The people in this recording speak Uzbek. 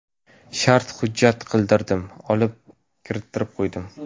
Shart hujjat qildirdim, olib kirittirib qo‘ydim.